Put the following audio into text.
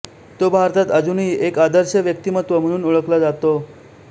तो भारतात अजूनही एक आदर्श व्यक्तिमत्त्व म्हणून ओळखला जातो